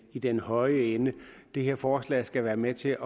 i den høje ende det her forslag skal være med til